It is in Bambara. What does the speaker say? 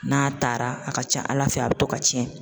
N'a taara a ka ca ala fɛ a bi to ka tiɲɛ.